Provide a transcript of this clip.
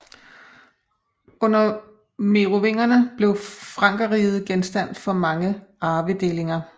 Under merovingerne blev Frankerriget genstand for mange arvedelinger